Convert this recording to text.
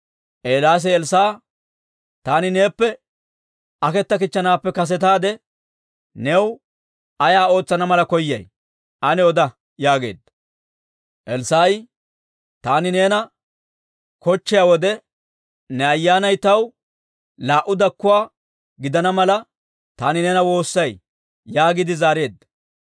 Eelaasi Elssaa'a, «Taani neeppe aketakkichchanaappe kasetaade, new ayaa ootsana mala koyay? Ane oda» yaageedda. Elssaa'i, «Taani neena kochchiyaa wode, ne ayyaanay taw laa"u dakkuwaa gidana mala, taani neena woossay» yaagiide zaareedda.